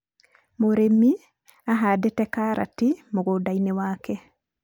mũrĩmi ahandĩte karati mũgũnda-inĩ gwake.